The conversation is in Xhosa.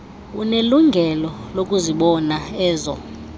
unelungelo lokuzibona ezo